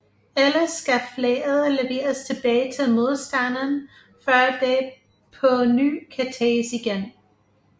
Ellers skal flaget leveres tilbage til modstanderen før det på ny kan tages igen